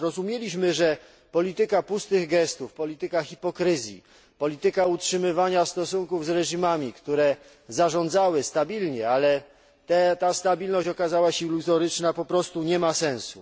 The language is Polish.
Zrozumieliśmy, że polityka pustych gestów, polityka hipokryzji, polityka utrzymywania stosunków z reżimami, które zarządzały stabilnie, ale ta stabilność okazała się iluzoryczna, po prostu nie ma sensu.